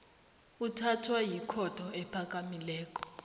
uthathwa yikhotho ephakamileko